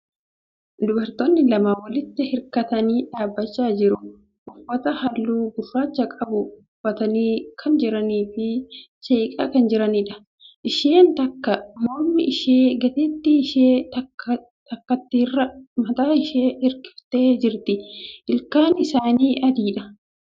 Dubartootni lama walitti hirkatanii dhaabbachaa jiru. Uffata haalluu gurraacha qabu uffatanii kan jiranii fi seeqaa kan jiraniidha. Isheen takka morma ishee gateettii ishee takkaatirra mataa ishee hirkiftee jirti. Ilkaan isaanii adiidha.